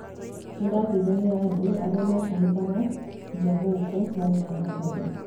Nĩ ndaateithagia andũ arĩamagĩtahikaga nja gũkũ marĩ na thakame